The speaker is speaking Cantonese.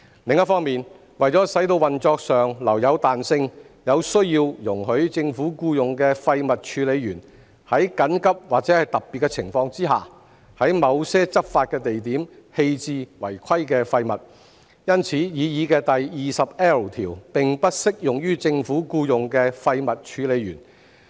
另一方面，為使運作上留有彈性，有需要容許政府僱用的廢物處理員在緊急或特別情況下，在某些執法地點棄置違規廢物，因此擬議第 20L 條並不適用於政府僱用的廢物處理員。